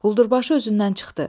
Quldurbaşı özündən çıxdı.